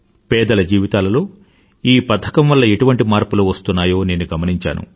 పేదల జీవితాలలో ఈ పథకంవల్ల ఎటువంటి మార్పులు వస్తున్నాయో నేను గమనించాను